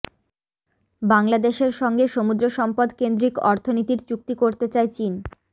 বাংলাদেশের সঙ্গে সমুদ্র সম্পদকেন্দ্রিক অর্থনীতির চুক্তি করতে চায় চীন